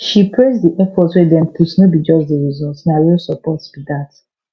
she praise di effort wey dem put no be just di result na real support be dat